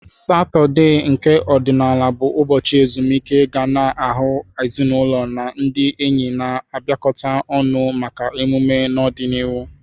Satọde, nke ọdịnala bụ ụbọchị ezumike, ga na-ahụ ezinaụlọ na ndị enyi na-abịakọta ọnụ maka mmemme n'ọdịniihu.